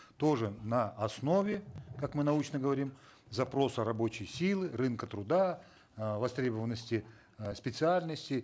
тоже на основе как мы научно говорим запроса рабочей силы рынка труда э востребованности э специальностей